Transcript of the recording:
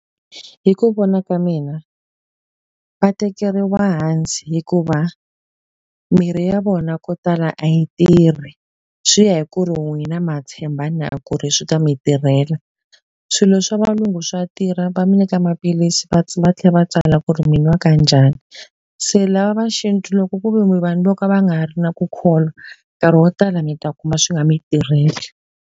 Hi ku vona ka mina, va tekeriwa hansi hikuva mirhi ya vona ko tala a yi tirhi. Swi ya hi ku ri n'wina ma tshemba na ku ri swi ta mi tirhela. Swilo swa valungu swa tirha va mi nyika maphilisi va va tlhela va tsala ku ri mi nwa ka njhani. Se lava va xintu loko ku ve mi vanhu vo ka va nga ri na ku kholwa, nkarhi wo tala mi ta kuma swi nga mi tirheli.